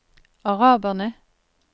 araberne